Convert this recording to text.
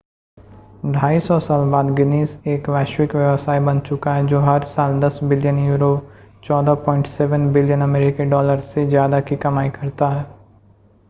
250 साल बाद गिनीज़ एक वैश्विक व्यवसाय बन चुका है जो हर साल 10 बिलियन यूरो 14.7 बिलियन अमेरिकी डॉलर से ज़्यादा की कमाई करता है